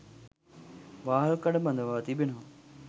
වාහල්කඩ බඳවා තිබෙනවා